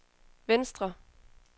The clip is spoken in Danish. venstre